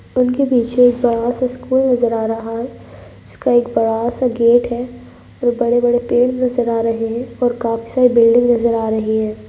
उनके पीछे एक बड़ा सा स्कूल नज़र आ रहा है जिसका एक बड़ा सा गेट है और बड़े बड़े पेड़ नज़र आ रहे हैं और काफ़ी सारी बिल्डिंग नज़र आ रही हैं।